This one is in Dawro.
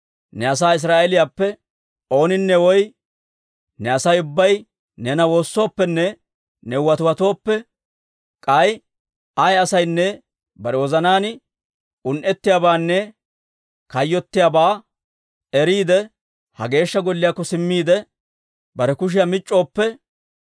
ne asaa Israa'eeliyaappe ooninne woy ne Asay ubbay neena woossooppenne new watiwatooppe, k'ay ayaa asaynne bare wozanaan un"ettiyaabaanne kayyottiyaabaa eriide, ha Geeshsha Golliyaakko simmiide, bare kushiyaa mic'c'ooppe,